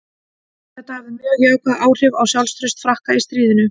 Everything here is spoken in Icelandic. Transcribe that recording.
Þetta hafði mjög jákvæð áhrif á sjálfstraust Frakka í stríðinu.